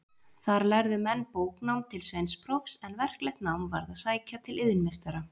Þar lærðu menn bóknám til sveinsprófs, en verklegt nám varð að sækja til iðnmeistara.